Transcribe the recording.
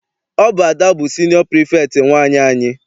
Ọ bụ Ada bụ siniọ pirifektị nwaanyị anyị.